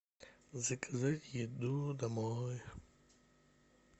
заказать еду домой